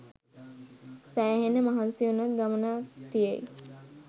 සෑහෙන්න මහන්සි ‍වුනොත් ගමනක් තියෙයි!